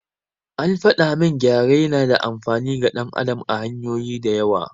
An faɗa min gyare yana da amfani ga ɗan adam ta hanyoyi da yawa.